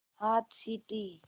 हाथ सीटी